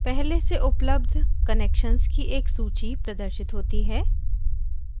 पहले से उपलब्ध connections की एक सूची प्रदर्शित होती है